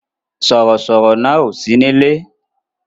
Sọ̀rọ̀ sọ̀rọ̀ náà ò sí nílé